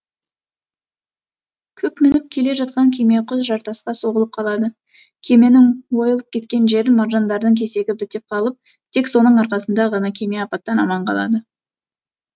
кук мініп келе жатқан кеме құз жартасқа соғылып қалады кеменің ойылып кеткен жерін маржандардың кесегі бітеп қалып тек соның арқасында ғана кеме апаттан аман қалады